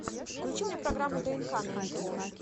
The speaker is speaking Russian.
включи мне программу днк на нтв